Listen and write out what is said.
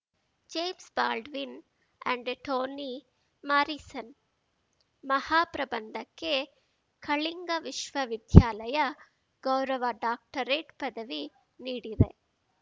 James Baldwin and Tony Morrison ಮಹಾ ಪ್ರಬಂಧಕ್ಕೆ ಕಳಿಂಗ ವಿಶ್ವವಿದ್ಯಾಲಯ ಗೌರವ ಡಾಕ್ಟರೆಟ್ ಪದವಿ ನೀಡಿದೆ